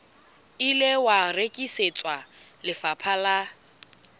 ile wa rekisetswa lefapha la